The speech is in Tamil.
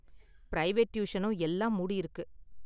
பிரைவேட் டியூஷனும் எல்லாம் மூடியிருக்கு.